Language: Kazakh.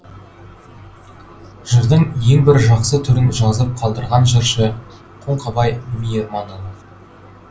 жырдың ең бір жақсы түрін жазып қалдырған жыршы қоңқабай мейірманұлы